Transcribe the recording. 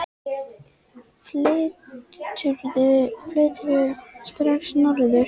Flyturðu strax norður?